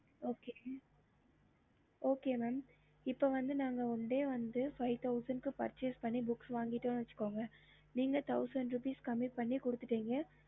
okey mam ten days முடிஞ்சிரும் இப்போ வந்த்து one days five thousand book வாங்கிட்டானு வச்சிக்கோங்க